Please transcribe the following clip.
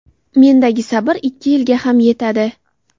Mendagi sabr ikki yilga ham yetadi.